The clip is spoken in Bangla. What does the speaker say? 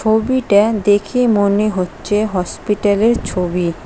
ছবিটা দেখে মনে হচ্ছে হসপিটালের ছবি।